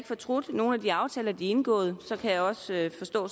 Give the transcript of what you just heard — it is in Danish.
fortrudt nogen af de aftaler de har indgået og så kan jeg også forstå